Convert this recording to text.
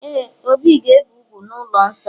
Ee, obi ga-ebe úgwù n'ụlọ nsọ